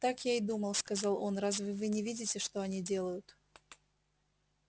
так я и думал сказал он разве вы не видите что они делают